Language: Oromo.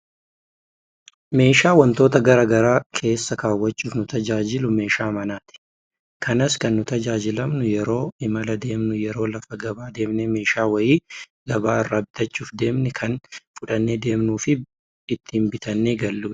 Meeshaa wantoota gara garaa keessa kaawwachuuf nu tajaajilu meeshaa manaati. Kanas kan nu tajaajilamnu yeroo imala deemnu, yeroo lafa gabaa deemnee meeshaa wayii gabaa irraa bitachuuf deemne kan fudhannee deemnuufi itti bitannee galludha.